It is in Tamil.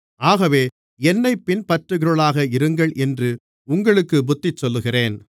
ஆகவே என்னைப் பின்பற்றுகிறவர்களாக இருங்கள் என்று உங்களுக்குப் புத்திசொல்லுகிறேன்